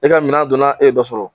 E ka minan don na , e yedɔ sɔrɔ.